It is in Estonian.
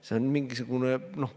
See on mingisugune ulmjutt.